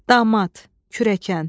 Damad, kürəkən.